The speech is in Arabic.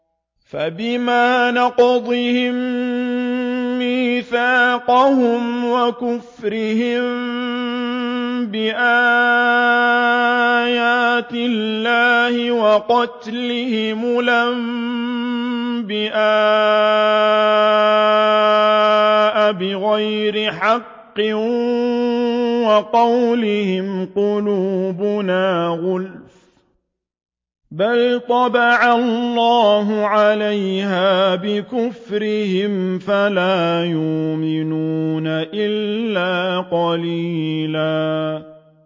فَبِمَا نَقْضِهِم مِّيثَاقَهُمْ وَكُفْرِهِم بِآيَاتِ اللَّهِ وَقَتْلِهِمُ الْأَنبِيَاءَ بِغَيْرِ حَقٍّ وَقَوْلِهِمْ قُلُوبُنَا غُلْفٌ ۚ بَلْ طَبَعَ اللَّهُ عَلَيْهَا بِكُفْرِهِمْ فَلَا يُؤْمِنُونَ إِلَّا قَلِيلًا